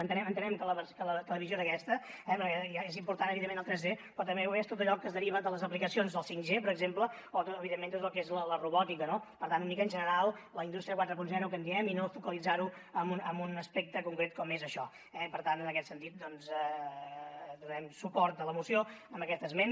entenem que la visió és aquesta eh perquè és important evidentment el 3d però també ho és tot allò que es deriva de les aplicacions del 5g per exemple o evidentment tot el que és la robòtica no per tant una mica en general la indústria quaranta que en diem i no focalitzar ho en un aspecte concret com és això eh per tant en aquest sentit doncs donarem suport a la moció amb aquest esment